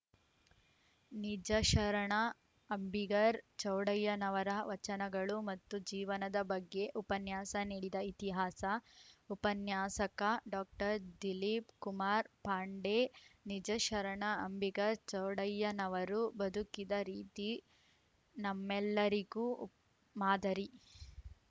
ನಿಜಶರಣ ಅಂಬಿಗರ್ ಚೌಡಯ್ಯನವರ ವಚನಗಳು ಮತ್ತು ಜೀವನದ ಬಗ್ಗೆ ಉಪನ್ಯಾಸ ನೀಡಿದ ಇತಿಹಾಸ ಉಪನ್ಯಾಸಕ ಡಾಕ್ಟರ್ ದಿಲೀಪ್‌ ಕುಮಾರ್‌ ಪಾಂಡೆ ನಿಜಶರಣ ಅಂಬಿಗರ ಚೌಡಯ್ಯನವರು ಬದುಕಿದ ರೀತಿ ನಮ್ಮೆಲ್ಲರಿಗು ಮಾದರಿ